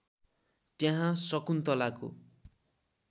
त्यहाँ शकुन्तलाको